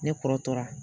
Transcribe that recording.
Ne kɔrɔ tɔra